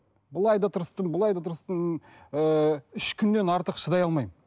былай да тырыстым былай да тырыстым ііі үш күннен артық шыдай алмаймын